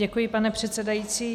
Děkuji, pane předsedající.